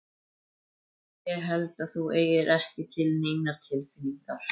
Nei. ég held að þú eigir ekki til neinar tilfinningar.